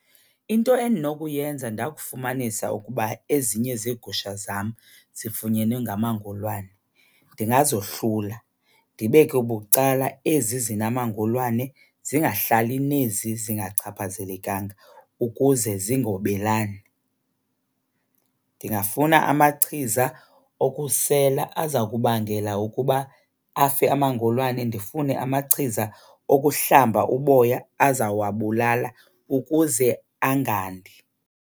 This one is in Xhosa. Into endinokuyenza ndakufumanisa ukuba ezinye zeegusha zam zifunyenwe ngamangolwane ndingazohlula, ndibeke bucala ezi zinamangolwane zingahlali nezi zingachaphazelekanga ukuze zingobelani. Ndingafuna amachiza okusela aza kubangela ukuba afe amangolwane, ndifune amachiza okuhlamba uboya azawababulala ukuze angandi.